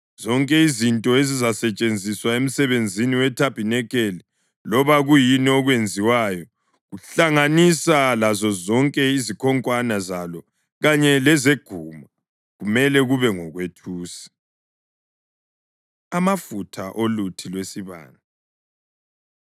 Zonke izinto ezizasetshenziswa emsebenzini wethabanikeli loba kuyini okwenziwayo kuhlanganisa lazozonke izikhonkwane zalo kanye lezeguma, kumele kube ngokwethusi.” Amafutha Oluthi Lwesibane